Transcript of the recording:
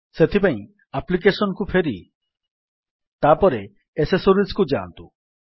ସେଥିପାଇଁ ଆପ୍ଲିକେଶନ୍ କୁ ଫେରି ତାପରେ ଏସେସୋରିଜ୍ କୁ ଯାଆନ୍ତୁ